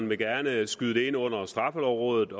vil gerne skyde det ind under straffelovrådet